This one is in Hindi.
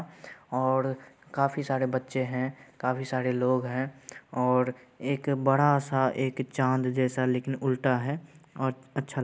और काफी सारे बच्चे है काफी सारे लोग है और एक बड़ा-सा एक चाँद जैसा लेकिन उल्टा है और अच्छा --